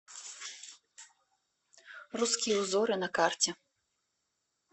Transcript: русские узоры на карте